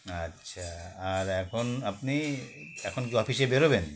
আচ্ছা আর এখন আপনি এখন কি office -এ বেরোবেন